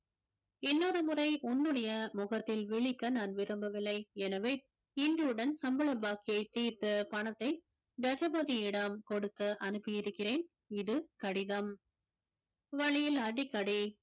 இன்னொரு முறை உன்னுடைய முகத்தில் விழிக்க நான் விரும்பவில்லை எனவே இன்றுடன் சம்பள பாக்கியை தீர்த்து பணத்தை தசபதியிடம் கொடுத்து அனுப்பி இருக்கிறேன் இது கடிதம் வழியில் அடிக்கடி